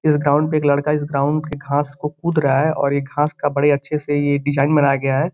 इस ग्राउन्ड पे (पर) एक लड़का इस ग्राउन्ड के घांस को कूद रहा है और ये घांस का बड़े अच्छे से ये डिजाइन बनाया गया है।